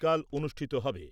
অনুষ্ঠিত হবে।